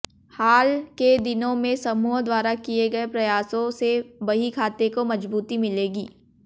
हाल के दिनों में समूह द्वारा किए गए प्रयासों से बहीखाते को मजबूती मिलेगी